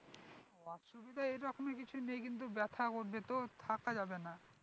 অসুবিধা এরকমই কিছু দিই কিন্তু ব্যাথা করবে তো থাকা যাবে না